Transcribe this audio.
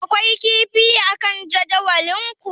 Akwai kifi akan jadawalinku?